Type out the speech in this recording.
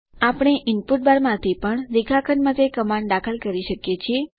આપણે input bar માંથી પણ રેખાખંડ માટે કમાન્ડ દાખલ કરી શકીએ છીએ